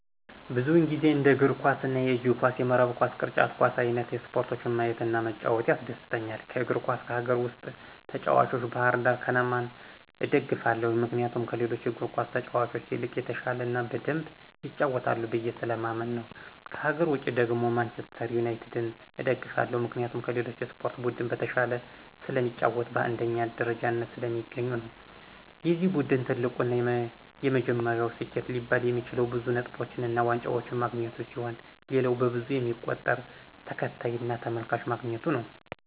ብዙውን ጊዜ እንደ የእግር ኳስ፣ የእጅ ኳስ፣ የመረብ ኳስ፣ ቅርጫት ኳስ አይንት ስፖርቶችን ማየት እና መጫወት ያስደስተኛል። ከእግር ኳስ ከሀገር ውስጥ ተጭዋቾች ባህርዳር ከነማን እደግፋለሁ ምክንያቱም ከሌሎቹ እግር ኳስ ተጫዋቾች ይልቅ የተሻለ እና በደምብ ይጫወታሉ ብየ ስለማምን ነው። ከሀገር ውጭ ደግሞ ማንችስተር ዩናቲድን እደግፋለሁ ምክንያቴም ከሌሎች የስፖርት ቡድን በተሻለ ስለሚጫወቱ እና በአንደኛ ደረጃነት ስለሚገኙ ነው። የዚ ቡድን ትልቁ እና የመጀመሪያው ስኬት ሊባል የሚችለው ብዙ ነጥቦችን እና ዋንጫዎችን ማግኘቱ ሲሆን ሌላው በብዙ የሚቆጠር ተከታይ እና ተመልካች ማግኘቱ ነው።